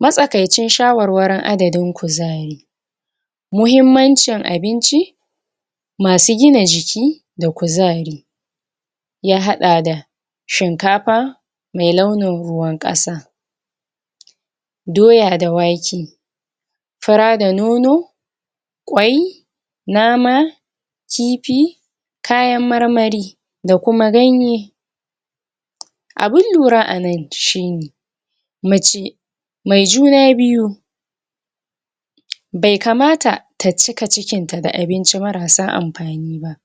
matsa kaicin sha warwarin adadin kuzari muhimmancin abinci masu gina jiki da ku zari ya haɗa da shin kafa me launin ruwan ƙasa daoaya da wake fura da nono kwai nama kifi kayan marmari da kuma ganye abun lura anan shine mace me juna biyu be kamata ta cika cikinta da abinci marasa amfani ba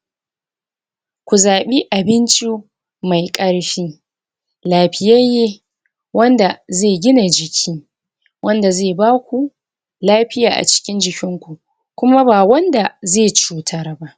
kuzaɓi abinci me karshi llafiyayye wanda ze gina jiki wanda ze baku lafiya acikin jikinku kuma ba wanda ze cutar ba